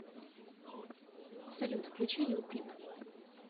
салют включи лил пип